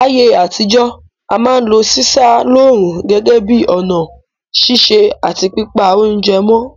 Láyé àtijọ́, a ma n lo sísá lóòrùn gẹ́gẹ́ bi ọ̀nà sise àti pípa ounje mó